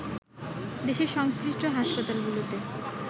দেশের সংশ্লিষ্ট হাসপাতালগুলোতে